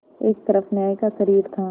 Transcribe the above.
एक तरफ न्याय का शरीर था